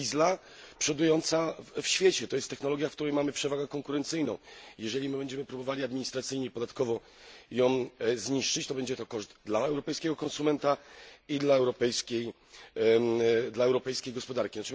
diesla przodująca w świecie, to jest technologia, w której mamy przewagę konkurencyjną i jeżeli my będziemy próbowali administracyjnie i podatkowo ją zniszczyć, to będzie to koszt dla europejskiego konsumenta i dla europejskiej gospodarki.